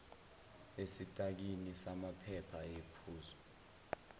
esitakini samaphepha ayephezu